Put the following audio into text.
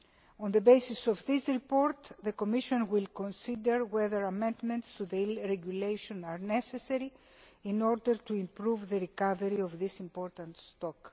On the basis of that report, the Commission will consider whether amendments to the Eel Regulation are necessary in order to improve the recovery of this important stock.